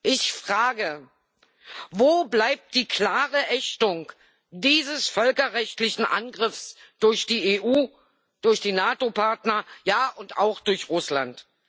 Ich frage Wo bleibt die klare Ächtung dieses völkerrechtlichen Angriffs durch die EU, durch die NATO Partner, ja, und auch durch Russland?